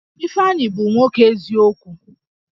Ifeanyi bụ nwoke eziokwu